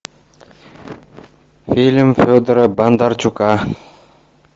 фильм федора бондарчука